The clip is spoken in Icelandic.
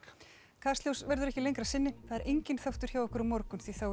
kastljós verður ekki lengra að sinni það er enginn þáttur hjá okkur á morgun því þá er